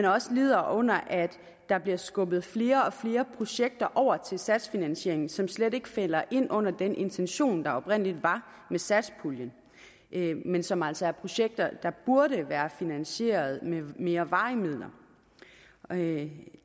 også lider under at der bliver skubbet flere og flere projekter over til satsfinansieringen som slet ikke falder ind under den intention der oprindelig var med satspuljen men som altså er projekter der burde være finansieret med mere varige midler det